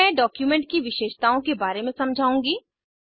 अब मैं डॉक्यूमेंट की विशेषताओं के बारे में समझाउंगी